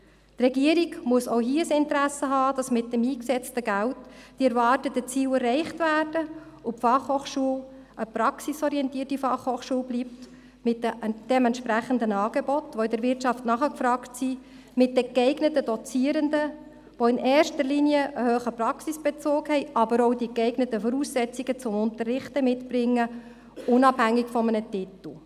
Die Regierung muss auch hier ein Interesse daran haben, dass mit dem eingesetzten Geld die erwarteten Ziele erreicht werden und die BFH eine praxisorientierte Fachhochschule bleibt mit entsprechenden Angeboten, die von der Wirtschaft nachgefragt werden, und mit den geeigneten Dozierenden, die in erster Linie einen hohen Praxisbezug haben und die geeigneten Voraussetzungen zum Unterrichten mitbringen – unabhängig vom Titel.